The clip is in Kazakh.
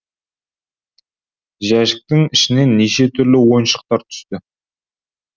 жәшіктің ішінен неше түрлі ойыншықтар түсті